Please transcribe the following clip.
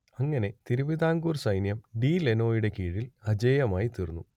അങ്ങനെ തിരുവിതാംകൂർ സൈന്യം ഡി ലനോയുടെ കീഴിൽ അജയ്യമായിത്തീർന്നു